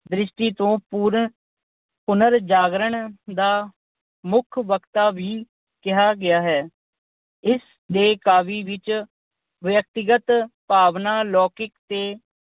ਦ੍ਰਿਸ਼ਟੀ ਤੋਂ ਪੁਰ ਅਹ ਪੁਨਰ ਜਾਗਰਣ ਦਾ ਮੁੱਖ ਵਕਤਾ ਵੀ ਕਿਹਾ ਗਿਆ ਹੈ। ਇਸ ਦੇ ਕਾਵਿ ਵਿੱਚ ਵਿਅਕਤੀਗਤ ਭਾਵਨਾ ਲੌਕਿਕ ਤੇ